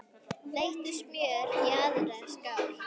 Þeyttu smjörið í annarri skál.